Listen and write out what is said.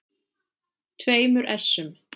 tveimur essum.